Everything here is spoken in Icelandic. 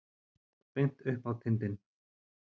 Beint upp á tindinn.